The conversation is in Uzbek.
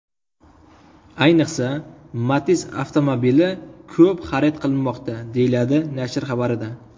Ayniqsa, Matiz avtomobili ko‘p xarid qilinmoqda”, deyiladi nashr xabarida.